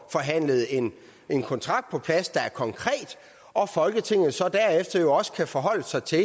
forhandlet en kontrakt på plads der er konkret og at folketinget så derefter også kan forholde sig til